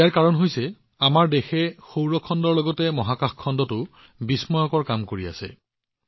ইয়াৰ কাৰণ হৈছে আমাৰ দেশখনে সৌৰ খণ্ডৰ লগতে মহাকাশ খণ্ডতো বিস্ময়কৰ কাম কৰি আছে